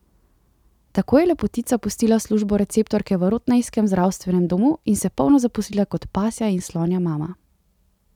Tako je Lepotica pustila službo receptorke v rottnejskem zdravstvenem domu in se polno zaposlila kot pasja in slonja mama.